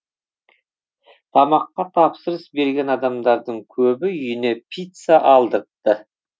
тамаққа тапсырыс берген адамдардың көбі үйіне пицца алдыртты